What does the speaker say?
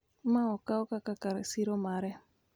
ma okaw kaka kar siro mare,